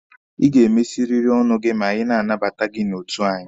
Ị ga-emesiriri ọnụ gị ma anyị na-anabata gị n'otu anyị!